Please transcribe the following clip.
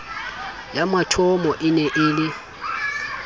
ya mathomo e ne e